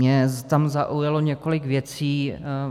Mě tam zaujalo několik věcí.